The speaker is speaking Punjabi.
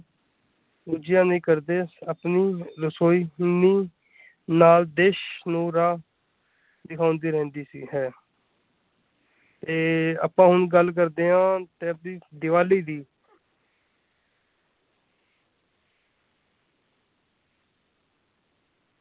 ਪੂਜਿਆਂ ਨੀ ਕਰਦੇ ਆਪਣੀ ਰੋਸ਼ਨੀ ਦੀ ਨੀਂਹ ਨਾਲ ਦੇਸ਼ ਨੂੰ ਰਾਹ ਦਿਖਾਉਂਦੀ ਰਹਿੰਦੀ ਸੀ ਹੈ ਤੇ ਆਪਾਂ ਹੁਣ ਗੱਲ ਕਰਦੇ ਆ ਦੇਸ਼ ਦੀ ਦੀਵਾਲੀ ਦੀ।